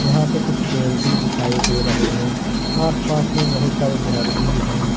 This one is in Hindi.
यहां पे कुछ पेड़ भी दिखाई दे रहे हैं आसपास में बहुत सारे घर भी हैं।